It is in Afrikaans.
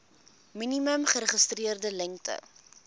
minimum geregistreerde lengte